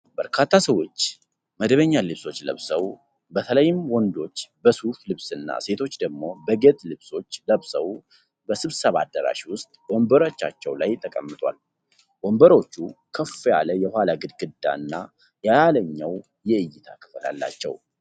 በርካታ ሰዎች መደበኛ ልብሶች ለብሰው፣ በተለይም ወንዶች በሱፍ ልብስና ሴቶች ደግሞ በጌጥ ልብሶች ለብሰው በስብሰባ አዳራሽ ውስጥ ወንበሮቻቸው ላይ ተቀምጠዋል። ወንበሮቹ ከፍ ያለ የኋላ ግድግዳና የላይኛው የእይታ ክፍል አላቸው።